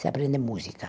Se aprende música.